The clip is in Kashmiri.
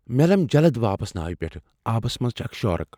مےٚ لم جلد واپس ناوِ پیٹھ ۔ آبس منٛز چھےٚ اکھ شارک۔